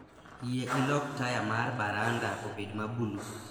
Yie ilok taya mar baranda obed ma bulu